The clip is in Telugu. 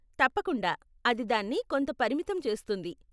తప్పకుండా, అది దాన్ని కొంత పరిమితం చేస్తుంది.